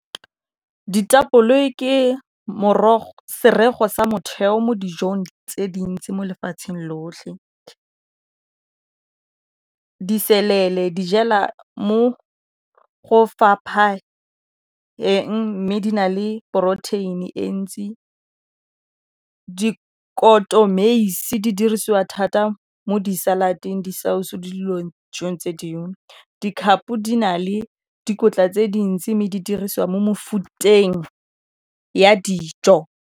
Ditapole di ke serego sa motheo mo dijong tse dintsi mo lefatsheng lotlhe. Diselele di jela mo go fapha eng mme di na le protein-e ntsi ka dikotomeise di dirisiwa thata mo di-salad-eng, di-salsa, mo dilong tse dingwe dikhapo di na le dikotla tse dintsi mme di dirisiwa mo mofuteng ya dijo.